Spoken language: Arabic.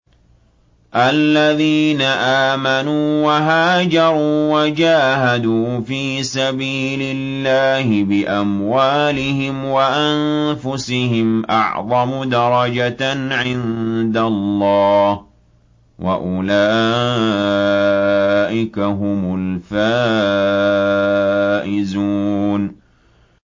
الَّذِينَ آمَنُوا وَهَاجَرُوا وَجَاهَدُوا فِي سَبِيلِ اللَّهِ بِأَمْوَالِهِمْ وَأَنفُسِهِمْ أَعْظَمُ دَرَجَةً عِندَ اللَّهِ ۚ وَأُولَٰئِكَ هُمُ الْفَائِزُونَ